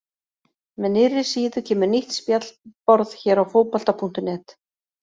Með nýrri síðu kemur nýtt spjallborð hér á Fótbolta.net.